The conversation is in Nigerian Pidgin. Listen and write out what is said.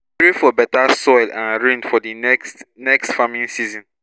we pray for better soil and rain for di next next farming season